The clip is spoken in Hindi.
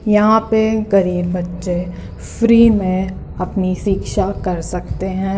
यहाँ पे गरीब बच्चे फ्री में अपनी शिक्षा कर सकते हैं।